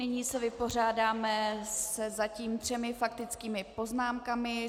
Nyní se vypořádáme se zatím třemi faktickými poznámkami.